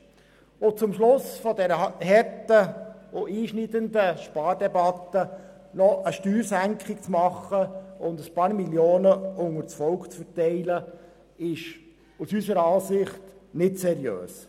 Jetzt zum Schluss dieser harten und einschneidenden Spardebatte eine Steuersenkung zu verlangen und ein paar Millionen unter dem Volk zu verteilen, ist aus unserer Sicht nicht seriös.